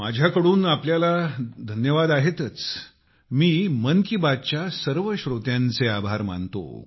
माझ्या कडून आपल्याला तर धन्यवाद आहेतच मी मन की बात च्या सर्व श्रोत्यांचे आभार मानतो